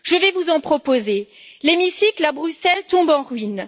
Je vais vous en proposer l'hémicycle à Bruxelles tombe en ruine